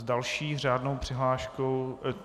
S další řádnou přihláškou...